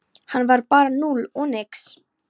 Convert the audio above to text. Hann var bara núll og nix.